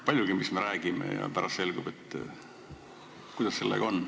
Paljugi, mis me räägime, ja pärast selgub, et ...